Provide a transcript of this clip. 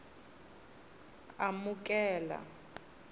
amukela